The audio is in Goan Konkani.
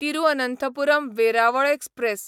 तिरुअनंथपुरम वेरावळ एक्सप्रॅस